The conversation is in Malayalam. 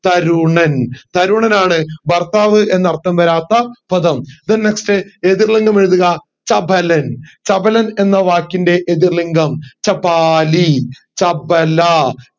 തരുണൻ തരുണനാണ് ഭർത്താവ് എന്ന അർഥം വരാത്ത പദം then next എതിർ ലിംഗം എഴുതുക ചപലൻ ചപലൻ എന്ന വാക്കിന്റെ എതിർ ലിംഗം ചപാലി ചപല